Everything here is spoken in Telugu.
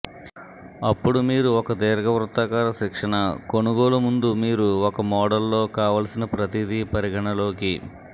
అప్పుడు మీరు ఒక దీర్ఘవృత్తాకార శిక్షణ కొనుగోలు ముందు మీరు ఒక మోడల్ లో కావలసిన ప్రతిదీ పరిగణలోకి